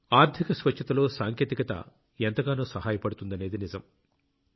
ఆర్థిక స్వచ్ఛతలో సాంకేతికత ఎంతగానో సహాయపడుతుందనేది నిజం